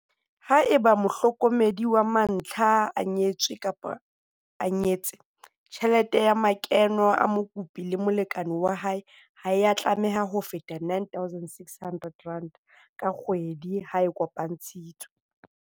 Haeba mohlokomedi wa mantlha a nyetse-nyetswe, tjhelete ya makeno a mokopi le molekane wa hae ha ya tlameha ho feta R9 600 ka kgwedi ha a kopantshitswe.